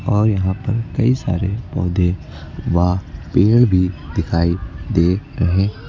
और यहां पर कई सारे पौधे व पेड़ भी दिखाई दे रहे--